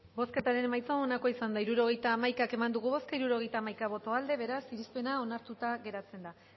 bozketaren emaitza onako izan da hirurogeita hamaika eman dugu bozka hirurogeita hamaika boto aldekoa beraz irizpena onartuta geratzen da